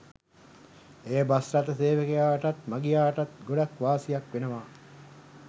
එය බස්රථ සේවකයාටත් මගියාටත් ගොඩක් වාසියක් වෙනවා